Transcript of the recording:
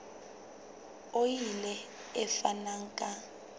o ile a fana ka